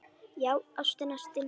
Já, ástin, ástin.